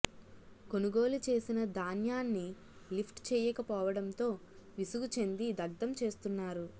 కొనుగోలు చేసిన ధాన్యాన్ని లిఫ్ట్ చేయక పోవడంతో విసుగు చెంది దగ్ధం చేస్తున్నారు